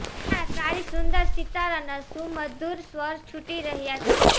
ત્યાં તારી સુંદર સિતારના સુમધુર સ્વર છૂટી રહ્યા છે